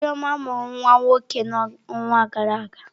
Chioma mụrụ nwa nwoke n'ọnwa gara aga.